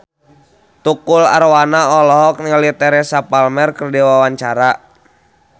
Tukul Arwana olohok ningali Teresa Palmer keur diwawancara